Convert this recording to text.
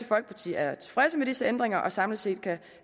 folkeparti er tilfreds med disse ændringer og samlet set kan